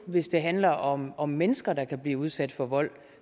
hvis det handler om om mennesker der kan blive udsat for vold